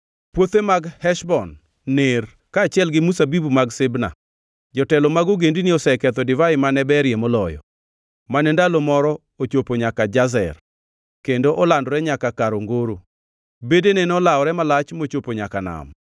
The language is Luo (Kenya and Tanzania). Puothe mag Heshbon ner, kaachiel gi mzabibu mag Sibma. Jotelo mag ogendini oseketho divai mane berie moloyo, mane ndalo moro ochopo nyaka Jazer, kendo olandore nyaka kar ongoro. Bedene nolawore malach mochopo nyaka nam.